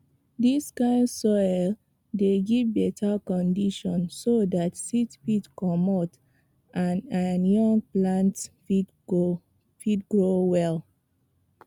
dis kind soil dey give beta condition so dat seed fit comot and and young plants fit grow well